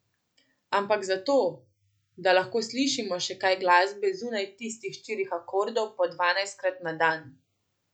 Ampak zato, da lahko slišimo še kaj glasbe zunaj tistih štirih akordov po dvanajstkrat na dan.